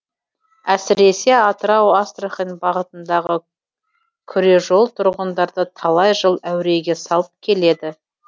әсіресе атырау астрахань бағытындағы күре жол тұрғындарды талай жыл әуреге салып келеді